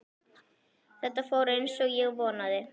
Þetta fór eins og ég vonaði